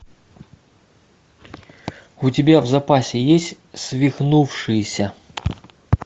у тебя в запасе есть свихнувшиеся